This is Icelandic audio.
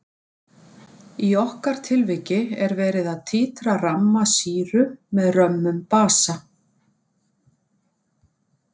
Í okkar tilviki er verið að títra ramma sýru með römmum basa.